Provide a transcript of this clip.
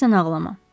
Tək sən ağlama.